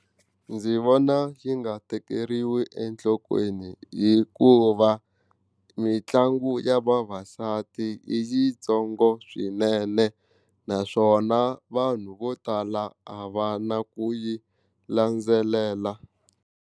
Ndzi vona yi nga tekeriwi enhlokweni hikuva mitlangu ya vavasati i yitsongo swinene naswona vanhu vo tala a va na ku yi landzelela.